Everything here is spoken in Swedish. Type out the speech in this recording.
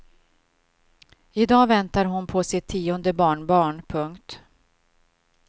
I dag väntar hon på sitt tionde barnbarn. punkt